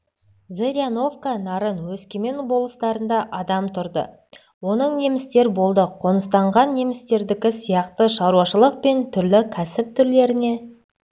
зыряновка нарын өскемен болыстарында адам тұрды оның немістер болды қоныстанған немістердікі сияқты шаруашылық пен түрлі кәсіп түрлеріне